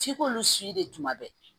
F'i k'olu si de tuma bɛɛ